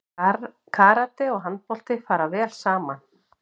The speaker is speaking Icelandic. Karate og handbolti fara vel saman